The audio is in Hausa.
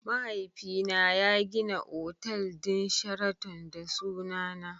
Mahaifina ya gina otal din sheraton da sunana.